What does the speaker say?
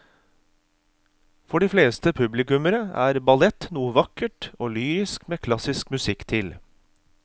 For de fleste publikummere er ballett noe vakkert og lyrisk med klassisk musikk til.